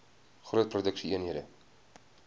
groot produksie eenhede